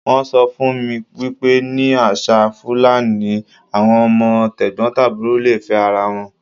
Wọ́n sọ fún mi wípé ní àṣà Fúlàní, àwọn ọmọ t'ẹ̀gbọ̀ntàbúrò le fẹ́ ara wọn.